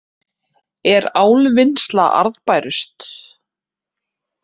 Er álvinnsla arðbærust